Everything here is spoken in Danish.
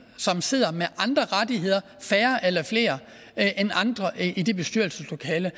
som sidder med andre rettigheder færre eller flere end andre i det bestyrelseslokale